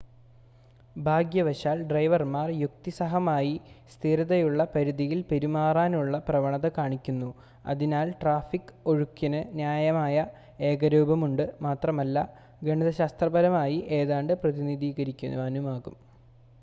ഭാഗ്യവശാൽ ഡ്രൈവർമാർ യുക്തിസഹമായി സ്ഥിരതയുള്ള പരിധിയിൽ പെരുമാറാനുള്ള പ്രവണത കാണിക്കുന്നു അതിനാൽ ട്രാഫിക് ഒഴുക്കിന് ന്യായമായ ഏകരൂപമുണ്ട് മാത്രമല്ല ഗണിതശാസ്ത്രപരമായി ഏതാണ്ട് പ്രതിനിധീകരിക്കാനുമാകും